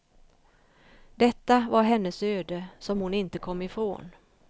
Detta var hennes öde som hon inte kom ifrån.